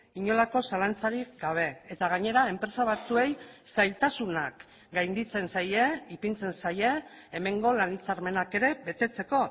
inolako zalantzarik gabe eta gainera enpresa batzuei zailtasunak gainditzen zaie ipintzen zaie hemengo lan hitzarmenak ere betetzeko